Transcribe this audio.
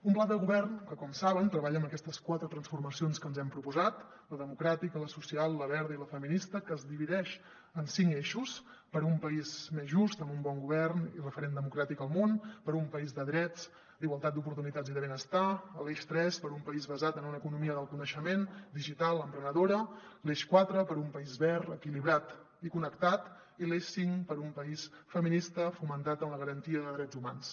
un pla de govern que com saben treballa en aquestes quatre transformacions que ens hem proposat la democràtica la social la verda i la feminista que es divideix en cinc eixos per un país més just amb un bon govern i referent democràtic al món per un país de drets d’igualtat d’oportunitats i de benestar l’eix tres per un país basat en una economia del coneixement digital emprenedora l’eix quatre per un país verd equilibrat i connectat i l’eix cinc per un país feminista fonamentat en la garantia de drets humans